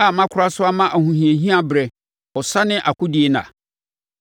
a makora so ama ahohiahia berɛ, ɔsa ne akodie nna?